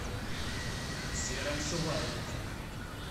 сером шуваеве